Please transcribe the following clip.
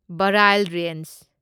Barail range